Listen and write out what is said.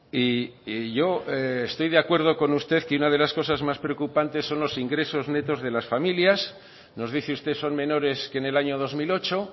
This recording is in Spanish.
y yo estoy de acuerdo con usted que una de las cosas más preocupantes son los ingresos netos de las familias nos dice usted son menores que en el año dos mil ocho